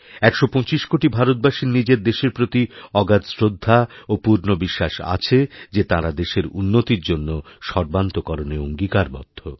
১২৫ কোটি ভারতবাসীর নিজের দেশের প্রতি অগাধ শ্রদ্ধা ও পূর্ণ বিশ্বাসআছে যে তাঁরা দেশের উন্নতির জন্য সর্বান্তঃকরণে অঙ্গীকারবদ্ধ